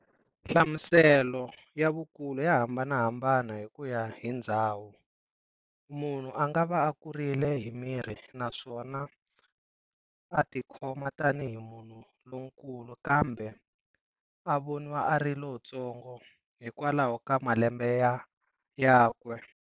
Nhlamuselo ya vukulu ya hambanahambana hikuya hi ndzhawu, munhu angava a kurile hi miri, naswona a tikhoma tanihi munhu lonkulu kambe a voniwa ari lontsongo hikwalaho ka malembe yakwe.